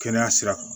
Kɛnɛya sira kan